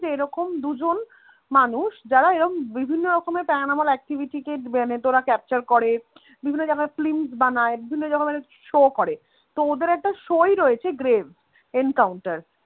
যে এরকম দুজন মানুষ যারা এরম বিভিন্ন রকম para normal activity কে মানে capture করে বিভিন্ন জায়গায় films বানায় বিভিন্ন রকমে show করে তো ওদের একটা show ই রয়েছে গ্রেভ এনকাউন্টার